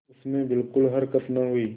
उसमें बिलकुल हरकत न हुई